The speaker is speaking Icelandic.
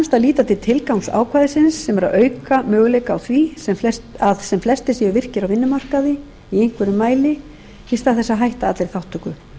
líta til tilgangs ákvæðisins sem er að auka möguleika á því að sem flestir séu virkir á vinnumarkaði í einhverjum mæli í stað þess að hætta allri þátttöku